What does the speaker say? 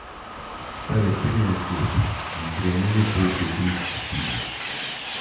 Star je trinajst let in krenil je po očetovih stopinjah.